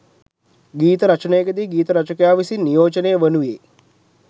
ගීත රචනයකදී ගීත රචකයා විසින් නියෝජනය වනුයේ